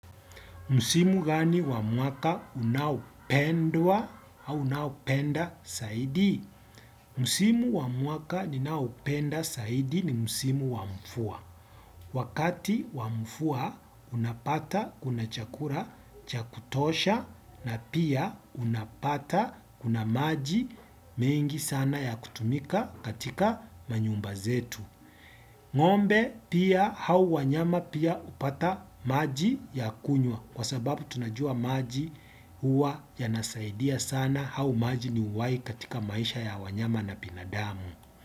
Msimu gani wa mwaka unaopendwa au unaopenda zaidi? Msimu wa mwaka ninaoupenda zaidi ni msimu wa mvua. Wakati wa mvua unapata kuna chakula cha kutosha na pia unapata kuna maji mengi sana ya kutumika katika manyumba zetu. Ng'ombe pia au wanyama pia hupata maji ya kunywa. Kwa sababu tunajua maji huwa yanasaidia sana au maji ni uhai katika maisha ya wanyama na binadamu.